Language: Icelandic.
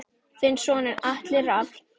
Þinn sonur Atli Rafn.